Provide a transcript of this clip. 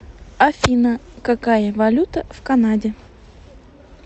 афина какая валюта в канаде